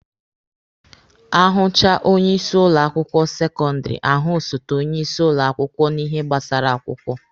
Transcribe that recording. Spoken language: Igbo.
Ahụchaa onye isi ụlọ akwụkwọ sekọndịrị, ahụ osote onye isi ụlọ akwụkwọ na ihe gbasara akwụkwọ.